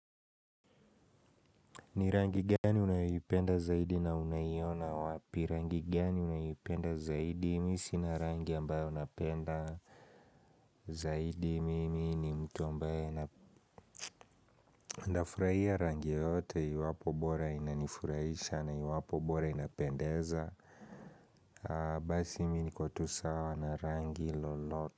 Ni rangi gani unayoipenda zaidi na unaiona wapi. Rangi gani unaipenda zaidi. Mi sina rangi ambayo napenda zaidi mimi ni mtu ambaye napenda ndafurahia rangi yoyote iwapo bora inanifurahisha na iwapo bora inapendeza basi mi niko tu sawa na rangi loloto.